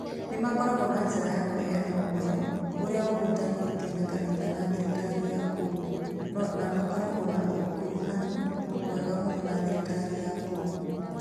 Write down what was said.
Nĩ makoragwo na njĩra ya kũheana ũhoro ũrĩa ũhutanĩtie na kanitha na thirikari ya kũu, na makoragwo na ũkuruhanu mwega mũno na thirikari ya kũu.